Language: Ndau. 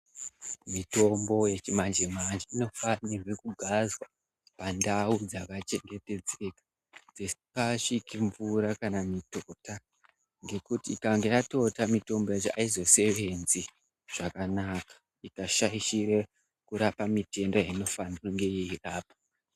Mitombo yechimanje manje inofana kugadzwa pandau dzakachengetedzeka dzisikasviki mvura nekuti ikange yatota mitombo yacho haizosevenzi zvakanaka ikashaire kurapa mitende inofanire kunge yeirapa .